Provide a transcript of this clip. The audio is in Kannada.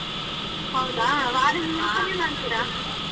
ಹೌದಾ ವಾರದ ಮಾಡ್ತೀರಾ.